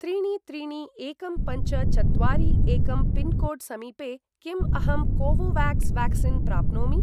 त्रीणि त्रीणि एकं पञ्च चत्वारि एकं पिन्कोड् समीपे किम् अहं कोवोवाक्स् व्याक्सीन् प्राप्नोमि?